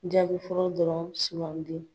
Jaabi fɔlɔ dɔrɔn sugandi.